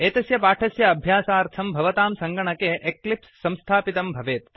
एतस्य पाठस्य अभ्यास्यार्थं भवतां सङ्गणके एक्लिप्स् संस्थापितं भवेत्